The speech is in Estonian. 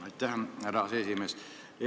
Aitäh, härra aseesimees!